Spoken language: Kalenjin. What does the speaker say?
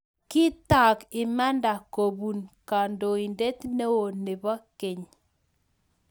Kitaak imanda kopuu kandoindet neoo nepo keny